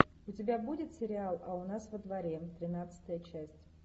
у тебя будет сериал а у нас во дворе тринадцатая часть